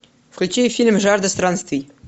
включи фильм жажда странствий